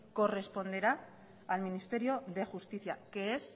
corresponderá al ministerio de justicia que es